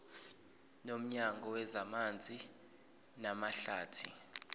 nomnyango wezamanzi namahlathi